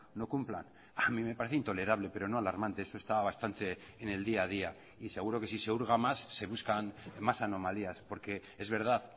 no cumplan a mí me parece intolerable pero no alarmante eso está bastante en el día a día y seguro que si se hurga más se buscan más anomalías porque es verdad